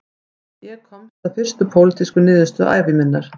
Ég komst að fyrstu pólitísku niðurstöðu ævi minnar